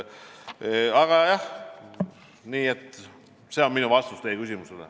Aga jah, see on minu vastus teie küsimusele.